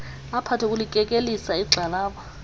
aphathe kulikekelisa igxalaba